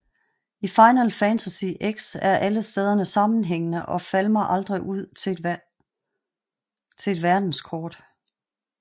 I Final Fantasy X er alle stederne sammenhængende og falmer aldrig ud til et verdenskort